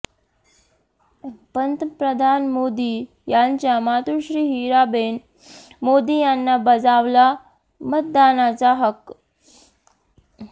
पंतप्रधान मोदी यांच्या मातोश्री हिराबेन मोदी यांनी बजावला मतदानाचा हक्क